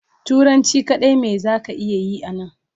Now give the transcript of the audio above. turanci kadai me za ka iya Yi a Nan.